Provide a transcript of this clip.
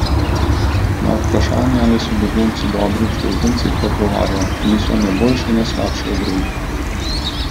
Na vprašanje, ali so begunci dobri uslužbenci, pa odgovarja: "Niso ne boljši ne slabši od drugih".